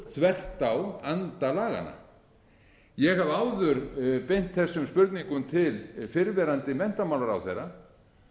þvert á anda laganna ég hef áður beint þessum spurningum til fyrrverandi menntamálaráðherra